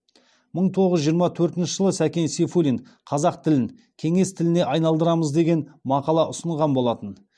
мың тоғыз жүз жиырма төртінші жылы сәкен сейфуллин қазақ тілін кеңес тіліне айналдырамыз деген мақала ұсынылған болатын